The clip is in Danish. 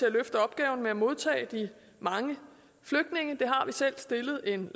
at løfte opgaven med at modtage de mange flygtninge det har vi selv stillet en